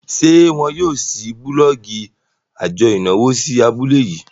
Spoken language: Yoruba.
ṣe wón yóò ṣii bulọọgi ajo ìnáwó sí abule yii?